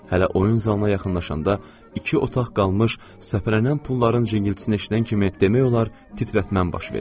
Hələ oyun zalına yaxınlaşanda iki otaq qalmış səpələnən pulların cingiltisini eşidən kimi demək olar titrətməm baş verir.